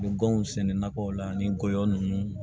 Gɔngɔn sɛnɛ na ko la ani gɔyɔ nunnu